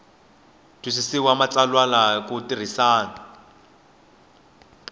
twisisa matsalwa hi ku tirhisa